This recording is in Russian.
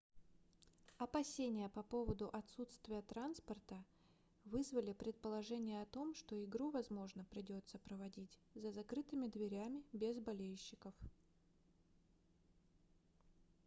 опасения по поводу отсутствия транспорта вызвали предположение о том что игру возможно придётся проводить за закрытыми дверями без болельщиков